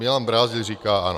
Milan Brázdil říká ano.